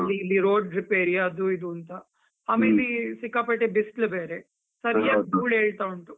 ಅಲ್ಲಿ ಇಲ್ಲಿ road repair ಅದು ಇದು ಅಂತ, ಸಿಕ್ಕಾಪಟ್ಟೆ ಬಿಸ್ಲು ಬೇರೆ, ಧೂಳ್ ಏಳ್ತಾ ಉಂಟು.